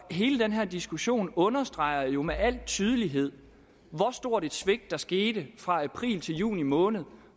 hele den her diskussion understreger jo med al tydelighed hvor stort et svigt der skete fra april til juni måned